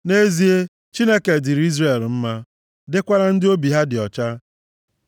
Nʼezie, Chineke dịịrị Izrel mma, dịkwara ndị obi ha dị ọcha.